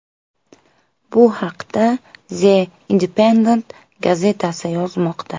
Bu haqda The Independent gazetasi yozmoqda .